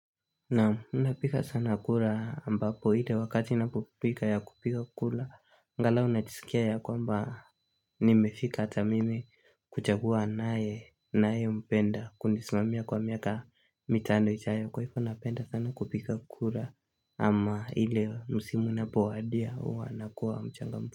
Naam ninapiga sana kura ambapo ile wakati napopiga ya kupiga kura angalau najisikia ya kwamba nimefika hata mimi kuchagua ninaye ninayempenda Kunisimamia kwa miaka mitano ijayo kwa hivo napenda sana kupiga kura ama ile msimu inapowadia huwa nakuwa mchangamfu.